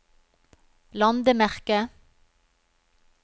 landemerke